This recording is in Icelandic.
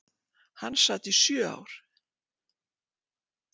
Hann sat í sjö ár.